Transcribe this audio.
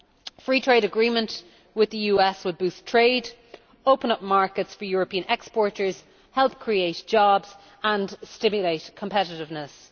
A Free Trade Agreement with the US will boost trade, open up markets for European exporters, help create jobs and stimulate competitiveness.